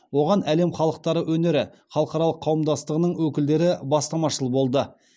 оған әлем халықтары өнері халықаралық қауымдастығының өкілдері бастамашыл болды